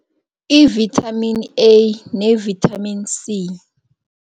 I-Vitamin A ne-Vitamin C.